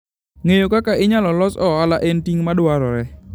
Ng'eyo kaka inyalo los ohala en ting' madwarore.